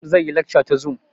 Malam zai yi laxca ta zum